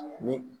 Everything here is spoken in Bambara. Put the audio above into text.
Ni